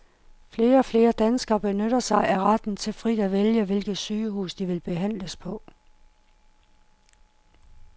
Flere og flere danskere benytter sig af retten til frit at vælge, hvilket sygehus de vil behandles på.